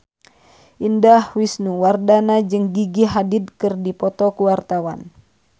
Indah Wisnuwardana jeung Gigi Hadid keur dipoto ku wartawan